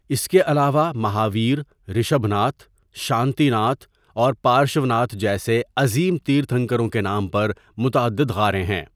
اس کے علاوہ، مہاویر، رشبھ ناتھ، شانتی ناتھ اور پارشوناتھ جیسے عظیم تیرتھنکروں کے نام پر متعدد غاریں ہیں۔